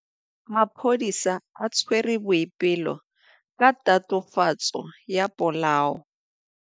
Maphodisa a tshwere Boipelo ka tatofatsô ya polaô.